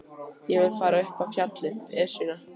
Ég vil fara út upp á fjallið, Esjuna.